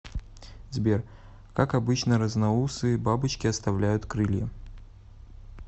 сбер как обычно разноусые бабочки оставляют крылья